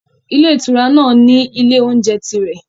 Ilé ìtura náà ní ilé-oúnjẹ tirẹ̀.